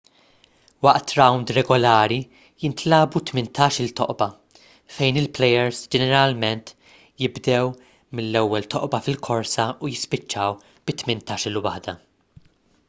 waqt rawnd regolari jintlagħbu tmintax-il toqba fejn il-plejers ġeneralment jibdew mill-ewwel toqba fil-korsa u jispiċċaw bit-tmintax-il waħda